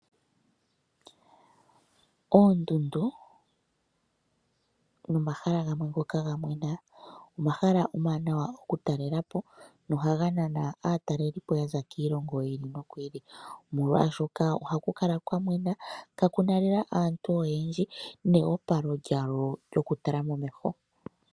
Oondundu nomahala gamwe ngoka ga mwena, omahala omawanawa okutalela po nohaga nana aatalelipo yaza kiilongo yi ili noyi ili ,omolwaashoka ohaku kala kwa mwena kakuna lela aantu oyendji neyopalo lyawo lyokutala momeho.